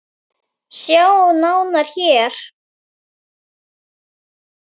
Sjá nánar HÉR!